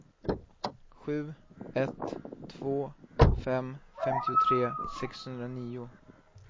sju ett två fem femtiotre sexhundranio